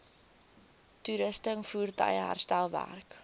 toerusting voertuie herstelwerk